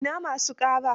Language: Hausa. Ina ma su ƙara?